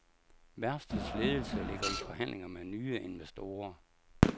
Værftets ledelse ligger i forhandlinger med nye investorer.